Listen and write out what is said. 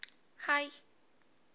hayi